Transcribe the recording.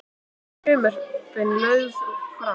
Frumvörpin lögð fram